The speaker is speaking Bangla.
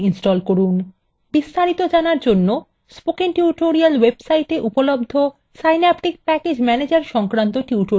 বিস্তারিত জানার জন্য spoken tutorial website উপলব্ধ synaptic প্যাকেজ ম্যানেজার সংক্রান্ত টিউটোরিয়ালগুলি দেখুন